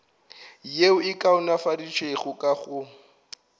yeo e kaonafaditšwego ka go